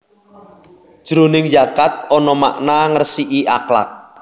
Jroning zakat ana makna ngresiki akhlak